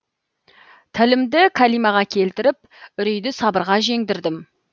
тілімді кәлимаға келтіріп үрейді сабырға жеңдірдім